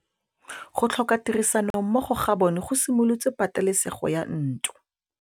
Go tlhoka tirsanommogo ga bone go simolotse patêlêsêgô ya ntwa.